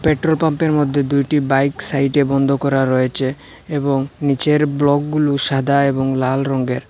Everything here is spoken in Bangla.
পেট্রোল পাম্পের মধ্যে দুইটি বাইক সাইডে বন্ধ করা রয়েছে এবং নীচের ব্লকগুলো সাদা এবং লাল রঙ্গের।